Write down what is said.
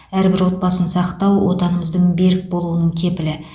әрбір отбасын сақтау отанымыздың берік болуының кепілі